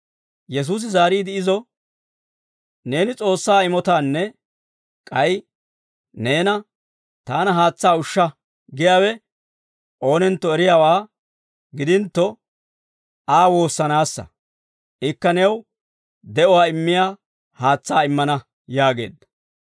Yesuusi zaariide izo, «Neeni S'oossaa imotaanne k'ay neena ‹Taana haatsaa ushsha› giyaawe oonentto eriyaawaa gidintto, Aa woossanaassa; ikka new de'uwaa immiyaa haatsaa immana» yaageedda.